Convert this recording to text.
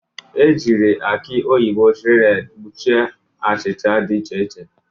Ejiri aki oyibo shredded kpuchie achịcha dị iche iche.